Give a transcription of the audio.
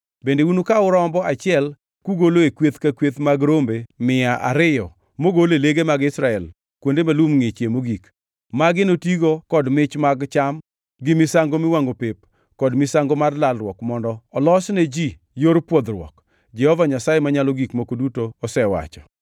Bende unukaw rombo achiel kugolo e kweth ka kweth mag rombe mia ariyo mogol e lege mag Israel kuonde ma lum ngʼichie mogik. Magi notigo kod mich mag cham, gi misango miwangʼo pep kod misango mar lalruok mondo olosne ji yor pwodhruok, Jehova Nyasaye Manyalo Gik Moko Duto osewacho.